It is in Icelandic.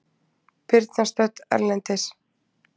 Birna stödd erlendis